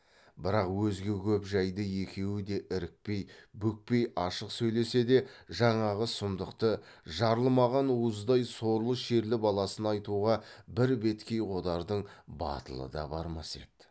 бірақ өзге көп жайды екеуі де ірікпей бүкпей ашық сөйлесе де жаңағы сұмдықты жарылмаған уыздай сорлы шерлі баласына айтуға бір беткей қодардың батылы да бармас еді